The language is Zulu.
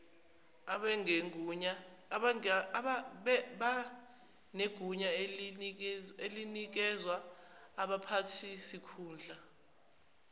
banegunya elinikezwa abaphathisikhundla